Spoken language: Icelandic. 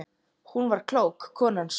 Hún var klók, konan sú.